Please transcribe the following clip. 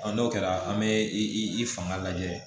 n'o kɛra an bɛ i fanga lajɛ